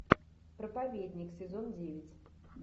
проповедник сезон девять